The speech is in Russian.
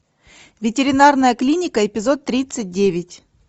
ветеринарная клиника эпизод тридцать девять